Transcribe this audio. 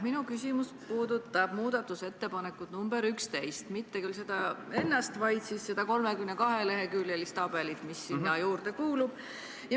Minu küsimus puudutab muudatusettepanekut nr 11, mitte küll seda ennast, vaid seda 32-leheküljelist tabelit, mis sinna juurde kuulub.